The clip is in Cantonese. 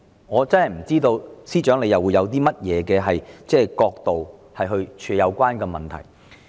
我不知道司長會從甚麼角度來處理這個問題。